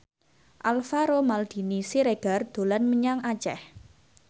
Alvaro Maldini Siregar dolan menyang Aceh